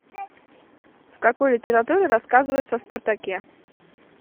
в какой литературе рассказывается о спартаке